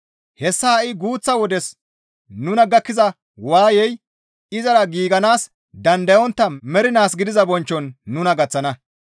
Hessas ha7i guuththa wodes nuna gakkiza waayey izara giiganaas dandayontta mernaas gidiza bonchchon nuna gaththana.